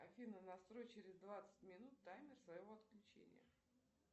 афина настрой через двадцать минут таймер своего отключения